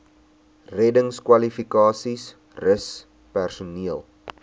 reddingskwalifikasies rus personeel